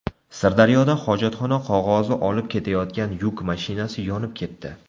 Sirdaryoda hojatxona qog‘ozi olib ketayotgan yuk mashinasi yonib ketdi.